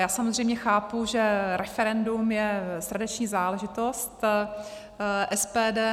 Já samozřejmě chápu, že referendum je srdeční záležitost SPD.